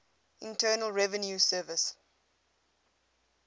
internal revenue service